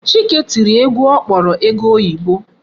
Chike tiri egwu ọ kpọrọ ego oyibo.